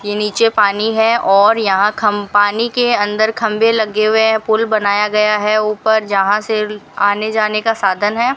ये नीचे पानी है और यहां खम् पानी के अंदर खंबे लगे हुए हैं पुल बनाया गया है ऊपर जहां से आने जाने का साधन है।